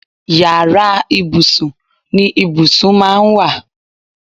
Yàrá ibùsùn ni ibùsùn máa ń wà